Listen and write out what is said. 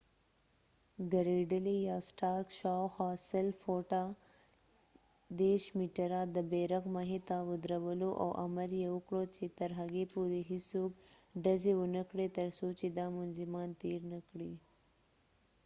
ګریډلي یا سټارک شاوخوا ۱۰۰ فوټه ۳۰ مټره د بیرغ مخې ته ودرولو او امر یې وکړ چې ترهغې پورې هیڅوک ډزې ونه کړي تر څو چې دا منظمان تیر نه کړي